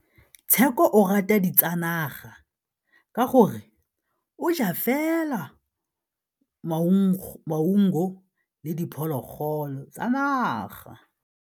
Tshekô o rata ditsanaga ka gore o ja fela maungo le diphologolo tsa naga.